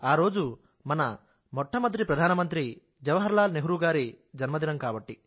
వారు మన మొట్టమొదటి ప్రధానమంత్రి జవహర్ లాల్ నెహ్రూ గారి జన్మదినం కాబట్టి